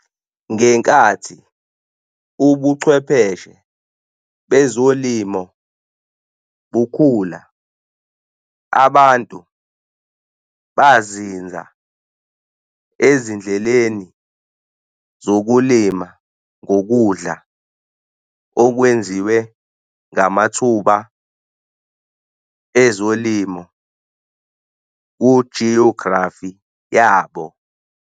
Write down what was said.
Ngenkathi ubuchwepheshe bezolimo bukhula, abantu bazinza ezindleleni zokulima ngokudla okwenziwe ngamathuba ezolimo ku-geography yabo.